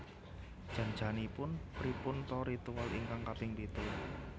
Jan janipun pripun ta ritual ingkang kaping pitu